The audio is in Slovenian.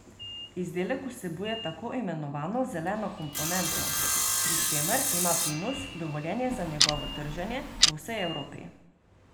Izdelek vsebuje tako imenovano zeleno komponento, pri čemer ima Pinus dovoljenje za njegovo trženje po vsej Evropi.